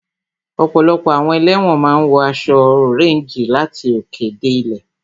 Ọ̀pọ̀lọpọ̀ àwọn ẹlẹ́wọ̀n máa ń wọ aṣọ ọréńjì láti òkè dé ilẹ̀